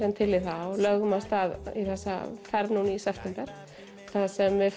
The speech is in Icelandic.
en til í það og lögðum af stað í þessa ferð í september þar sem við